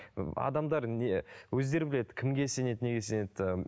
ы адамдар не өздері біледі кімге сенеді неге сенеді ііі